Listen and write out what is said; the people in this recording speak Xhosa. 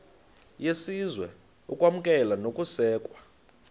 yesizwe ukwamkelwa nokusekwa